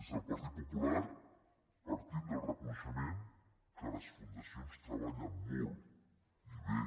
des del partit popular partim del reconeixement que les fundacions treballen molt i bé